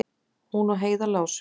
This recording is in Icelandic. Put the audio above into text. Hún og Heiða lásu